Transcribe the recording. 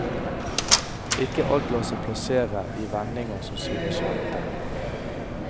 Ikke alt lar seg plassere i vendinger som synes kjente.